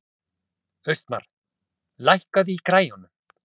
Austmar, lækkaðu í græjunum.